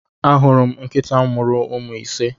Ahuru m nkịta mụrụ ụmụ ise.